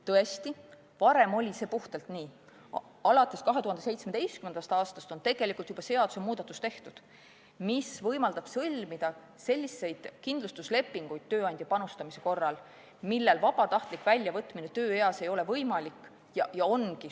Tõesti, varem oli see puhtalt nii, alates 2017. aastast on tehtud seadusemuudatus, mis võimaldab sõlmida selliseid kindlustuslepinguid tööandja panustamise korral, et raha vabatahtlik väljavõtmine tööeas ei ole võimalik.